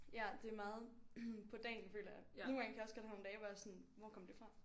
Ja det er meget på dagen føler jeg nogle gange kan jeg også godt have nogle dage hvor jeg sådan hvor kom det fra